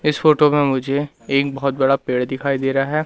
इस फोटो में मुझे एक बहोत बड़ा पेड़ दिखाई दे रहा है।